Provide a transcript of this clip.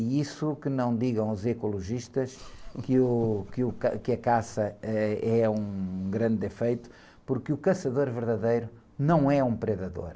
E isso que não digam aos ecologistas, que o, que o, ca, que a caça, ãh, é um grande defeito, porque o caçador verdadeiro não é um predador.